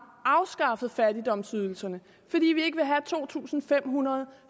afskaffet fattigdomsydelserne fordi vi ikke vil have to tusind fem hundrede